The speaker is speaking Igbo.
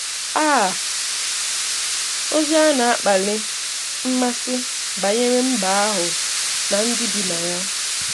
AAA!, Ozi a na-akpali mmasị banyere mbà ahụ na ndị bi na ya.